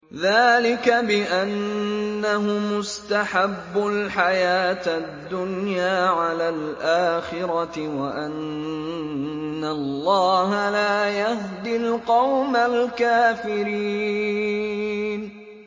ذَٰلِكَ بِأَنَّهُمُ اسْتَحَبُّوا الْحَيَاةَ الدُّنْيَا عَلَى الْآخِرَةِ وَأَنَّ اللَّهَ لَا يَهْدِي الْقَوْمَ الْكَافِرِينَ